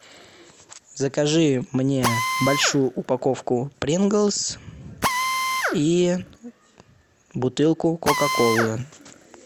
закажи мне большую упаковку принглс и бутылку кока колы